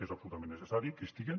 és absolutament necessari que hi estiguen